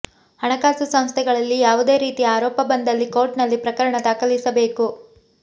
ಹಣಕಾಸು ಸಂಸ್ಥೆಗಳಲ್ಲಿ ಯಾವುದೇ ರೀತಿ ಆರೋಪ ಬಂದಲ್ಲಿ ಕೋರ್ಟ್ನಲ್ಲಿ ಪ್ರಕರಣ ದಾಖಲಿಸಬೇಕು